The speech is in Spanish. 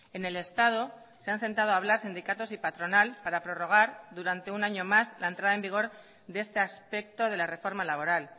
en el estado se han sentado a hablar sindicatos y patronal para prorrogar durante un año más la entrada en vigor de este aspecto de la reforma laboral